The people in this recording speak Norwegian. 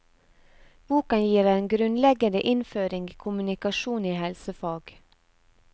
Boken gir en grunnleggende innføring i kommunikasjon i helsefag.